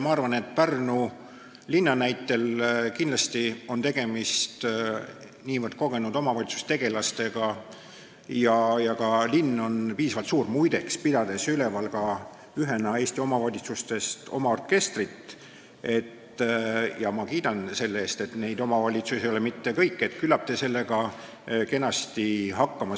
Ma arvan, et Pärnu linna näitel on kindlasti tegemist niivõrd kogenud omavalitsustegelastega ja ka linn on piisavalt suur – muide, pidades üleval ühena Eesti omavalitsustest oma orkestrit, ma kiidan neid selle eest, neid omavalitsusi ei ole mitte palju –, et küllap te saate kenasti hakkama.